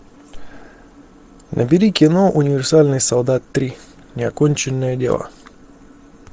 набери кино универсальный солдат три неоконченное дело